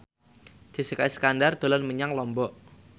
Jessica Iskandar dolan menyang Lombok